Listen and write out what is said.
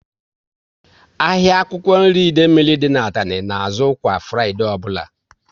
Ahịa akwụkwọ nri Idemili dị n'Atani na azụ kwa Fraịdee ọbụla